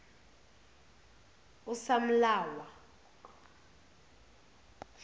usamlawa